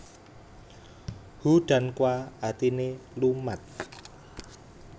Hu dan kwa artine lumat